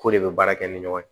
K'o de be baara kɛ ni ɲɔgɔn ye